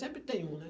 Sempre tem um, né?